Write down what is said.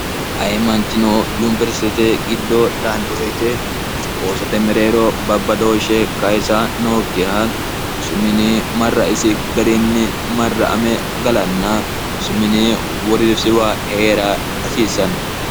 ayimaanchino yunibersite giddo daannobeete roosate mereero babbadooshshe kayisa nookkiha rosumini marraisi gariinni marra ame galanna rosumini woriifsiwa hee'ra hasiissanno